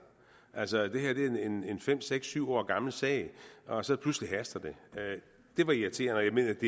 altså det her er en fem seks syv år gammel sag og så pludselig haster det det var irriterende og